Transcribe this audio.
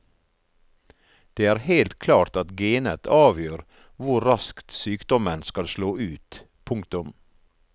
Det er helt klart at genet avgjør hvor raskt sykdommen skal slå ut. punktum